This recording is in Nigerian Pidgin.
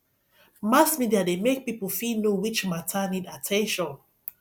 mass media de make pipo fit know which matter need at ten tion